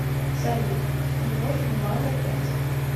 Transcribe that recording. салют умножь два на пять